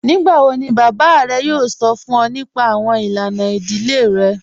Nígbàwọ̀ ni bàbá rẹ̀ yóò sọ̀ fún ọ̀ nípà awọn ilànà ìdílé rẹ̀?